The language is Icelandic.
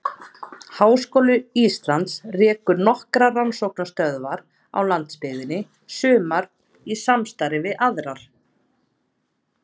Háskóli Íslands rekur nokkrar rannsóknastöðvar á landsbyggðinni, sumar í samstarfi við aðra.